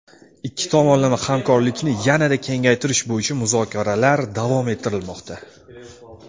Ikki tomonlama hamkorlikni yanada kengaytirish bo‘yicha muzokaralar davom ettirilmoqda.